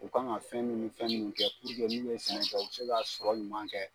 U ka kan ka fɛn munnu ni fɛn min kɛ, nu bɛ sɛnɛ kɛ u bɛ se ka sɔrɔ ɲuman kɛ.